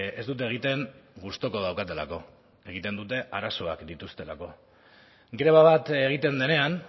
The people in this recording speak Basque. ez dute egiten gustuko daukatelako egiten dute arazoak dituztelako greba bat egiten denean